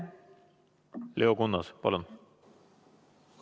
Leo Kunnas, palun!